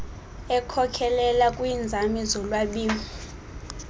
ekhokelela kwiinzame zolwabiwo